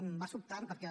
em va sobtant perquè